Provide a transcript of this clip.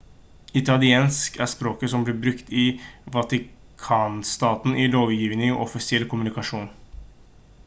italiensk er språket som blir brukt av vatikanstaten i lovgivning og offisiell kommunikasjon